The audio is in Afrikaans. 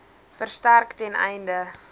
versterk ten einde